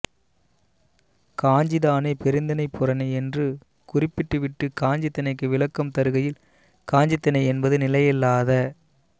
காஞ்சி தானே பெருந்திணைப் புறனே என்று குறிப்பிட்டுவிட்டுக் காஞ்சித் திணைக்கு விளக்கம் தருகையில் காஞ்சித் திணை என்பது நிலையில்லாத